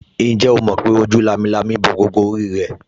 Ǹjẹ́ o mọ̀ pé ojú lámilámi bo gbogbo orí rẹ̀